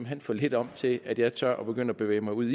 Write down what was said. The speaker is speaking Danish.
hen for lidt om til at jeg tør begynde at bevæge mig ud i